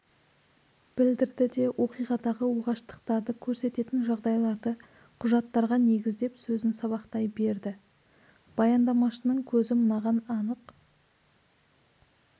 білдірді де оқиғадағы оғаштықтарды көрсететін жағдайларды құжаттарға негіздеп сөзін сабақтай берді баяндамашының көзі мынаған анық